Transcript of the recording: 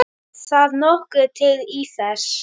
Það nokkuð til í þessu.